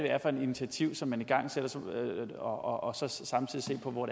er for nogle initiativer man igangsætter og så samtidig se på hvor